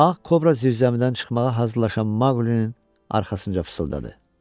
Ağ Kobra zirzəmidən çıxmağa hazırlaşan Maqlinin arxasınca fısıldadı: